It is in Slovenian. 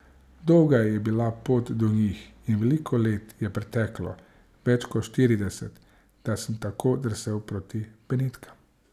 Dolga je bila pot do njih in veliko let je preteklo, več kot štirideset, da sem tako drsel proti Benetkam.